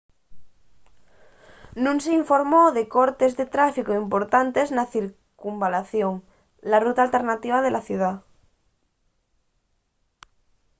nun s’informó de cortes de tráficu importantes na circunvalación la ruta alternativa de la ciudá